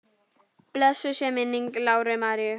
Blessuð sé minning Láru Maríu.